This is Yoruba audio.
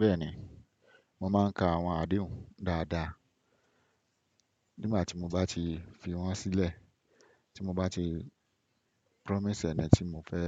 Bẹ́ẹ̀ni, mo máa ń ka àwọn adehùn dáadáa. Nígbà tí mo bá ti fi wọ́n sílẹ̀, tí mo bá ti promise ẹ̀ni tí mo fẹ́